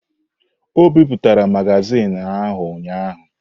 O bipụtara magazin ahụ ụnyahụ?